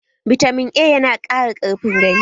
Bitamin A ya na ƙara ƙarfin gani